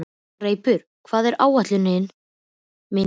Greipur, hvað er á áætluninni minni í dag?